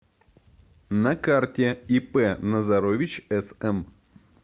на карте ип назарович см